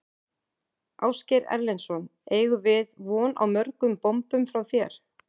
Ásgeir Erlendsson: Eigum við von á mörgum bombum frá þér?